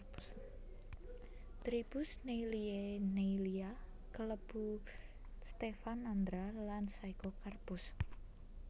Tribus Neillieae Neillia klebu Stephanandra lan Physocarpus